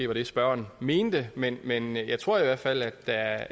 var det spørgeren mente men men jeg tror i hvert fald at der